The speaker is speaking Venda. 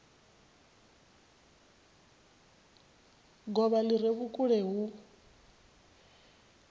govha li re vhukule hu